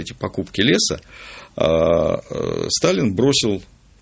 эти покупки леса аа сталин бросил